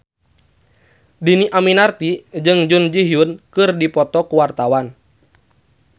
Dhini Aminarti jeung Jun Ji Hyun keur dipoto ku wartawan